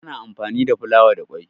ana anfami da fulawa da kwai